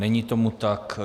Není tomu tak.